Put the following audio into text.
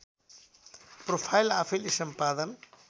profile आफैँले सम्पादन